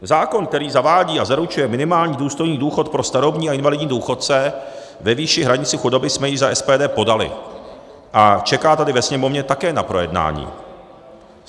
Zákon, který zavádí a zaručuje minimální důstojný důchod pro starobní a invalidní důchodce ve výši hranice chudoby, jsme již za SPD podali a čeká tady ve Sněmovně také na projednání.